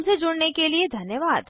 हमसे जुड़ने के लिए धन्यवाद